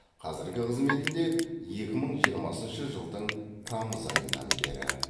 қазіргі қызметінде екі мың жиырмасыншы жылдың тамыз айынан бері